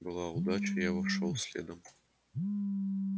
была удача я вошёл следом